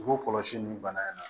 U kɔlɔsi ninnu bana in na